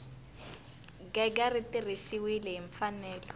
gega ri tirhisiwile hi mfanelo